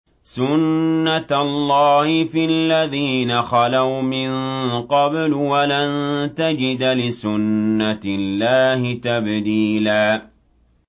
سُنَّةَ اللَّهِ فِي الَّذِينَ خَلَوْا مِن قَبْلُ ۖ وَلَن تَجِدَ لِسُنَّةِ اللَّهِ تَبْدِيلًا